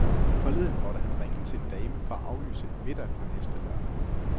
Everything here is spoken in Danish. Forleden måtte han ringe til en dame for at aflyse en middag på næste lørdag.